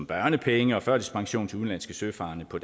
børnepenge og førtidspension til udenlandske søfarende på